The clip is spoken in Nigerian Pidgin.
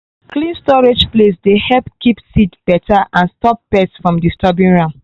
clean storage place dey help keep seed better and stop pest from disturbing am